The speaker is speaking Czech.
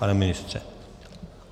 Pane ministře?